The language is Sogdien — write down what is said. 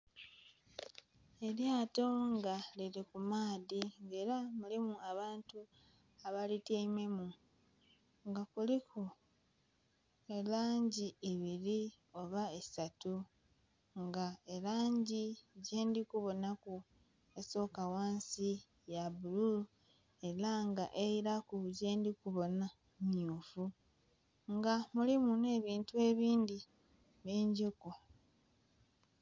Elyato nga lili ku maadhi nga era mulimu abantu abalityaimemu nga kuliku elangi ibiri oba isatu nga elangi gyendhi kubonhaku esoka ghansi ya bululu era nga eilaku gyendhi kubonha mmyufu nga mulimu nhe ebintu ebindhi bingiku.